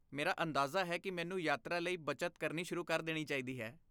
ਮੇਰਾ ਅੰਦਾਜ਼ਾ ਹੈ ਕਿ ਮੈਨੂੰ ਯਾਤਰਾ ਲਈ ਬੱਚਤ ਕਰਨੀ ਸ਼ੁਰੂ ਕਰ ਦੇਣੀ ਚਾਹੀਦੀ ਹੈ।